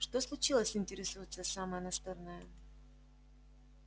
что случилось интересуется самая настырная